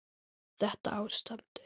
Þetta ástand?